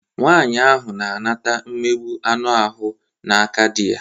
Nwaanyị ahụ na-anata mmegbụ anụ ahụ n'aka dị ya.